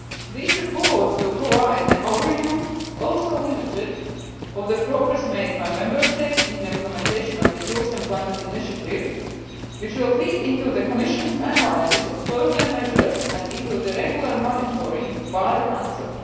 These reports will provide an overview, also limited, of the progress made by Member States in the implementation of the Youth Employment Initiative, which will feed into the Commission's analysis of further measures and into the regular monitoring by the Council.